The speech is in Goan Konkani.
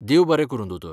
देव बरें करूं दोतोर.